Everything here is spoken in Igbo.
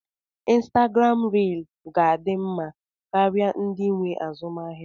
Instagram riil ga-adị mma karịa ndị nwe azụmaahịa.